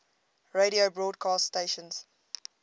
radio broadcast stations